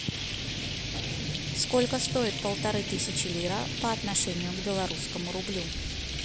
сколько стоит полторы тысячи лира по отношению к белорусскому рублю